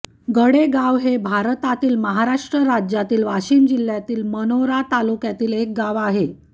गडेगाव हे भारतातील महाराष्ट्र राज्यातील वाशिम जिल्ह्यातील मानोरा तालुक्यातील एक गाव आहे